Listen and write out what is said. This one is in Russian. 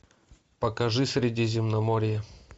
покажи средиземноморье